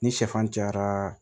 Ni sɛfan cayara